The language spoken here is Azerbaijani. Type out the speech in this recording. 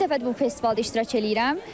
İlk dəfədir bu festivalda iştirak eləyirəm.